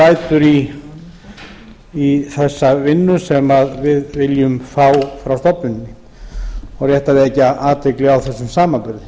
lætur í þessa vinnu sem við viljum fá frá stofnuninni og rétt að vekja athygli á þessum samanburði